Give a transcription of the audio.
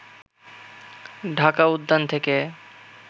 ঢাকা উদ্যান থেকে